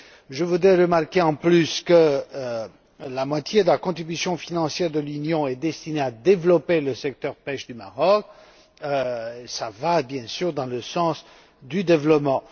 Je voudrais faire remarquer en plus que la moitié de la contribution financière de l'Union est destinée à développer le secteur marocain de la pêche, ce qui va, bien sûr, dans le sens du développement.